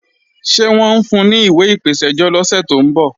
Ṣé wọ́n ń fun ní ìwé ìpèsẹ́jọ́ lọ́sẹ̀ tó ń bọ̀?